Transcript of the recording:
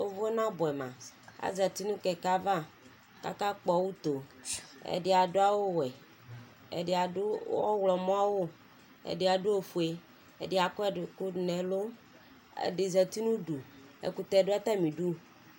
Ʋvʋ nabuɛ ma Azati nʋ kɛkɛ ava kaka kpɔ utoo Ɛdi adʋ awʋ wɛ, ɛdi adʋ aɣlɔmɔ awʋ, ɛdi adʋ ofue, ɛdi akɔ ɛkʋ dʋ nɛlʋ, ɛdi zati n'ʋdu, ɛkʋtɛ dua' tamidu